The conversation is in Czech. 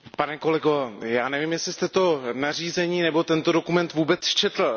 Pane kolego, já nevím, jestli jste to nařízení nebo tento dokument vůbec četl.